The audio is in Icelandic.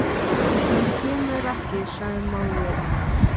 Hann kemur ekki, sagði móðir hennar.